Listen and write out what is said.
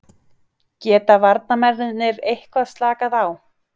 Geta varnarmennirnir eitthvað slakað á?